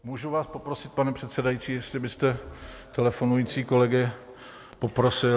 Můžu vás poprosit, pane předsedající, jestli byste telefonující kolegy poprosil...